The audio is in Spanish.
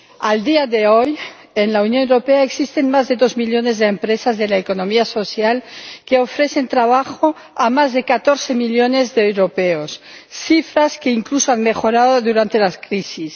A día de hoy, en la Unión Europea existen más de dos millones de empresas de la economía social que ofrecen trabajo a más de catorce millones de europeos, cifras que incluso han mejorado durante la crisis.